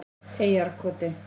Eyjarkoti